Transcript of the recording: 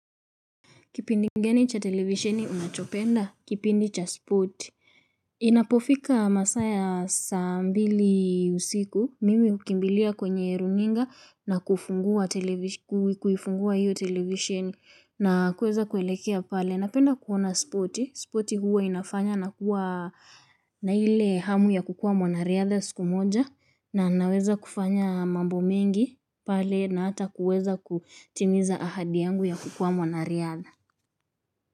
Kipindi gani cha televisioni unachopenda, kipindi cha spoti. Inapofika masaa ya saa mbili usiku, mimi hukimbilia kwenye runinga na kufungua televisi, kuifungua hiyo televisheni. Na kuweza kuelekea pale, napenda kuona spoti. Spoti huwa inafanya na kuwa na ile hamu ya kukuwa mwanariadha siku moja. Na naweza kufanya mambo mengi pale na hata kuweza kutimiza ahadi yangu ya kukuwa mwanariadha.